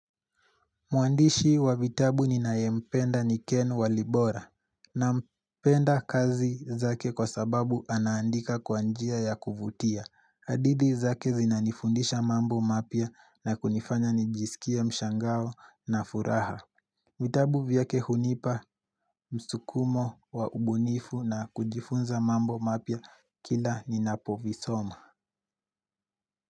Muandishi wa vitabu ninaye mpenda ni ken walibora na mpenda kazi zake kwa sababu anaandika kwa njia ya kuvutia hadithi zake zinanifundisha mambo mapya na kunifanya nijisikie mshangao na furaha vitabu vyake hunipa msukumo wa ubunifu na kujifunza mambo mapya kila ninapovisoma.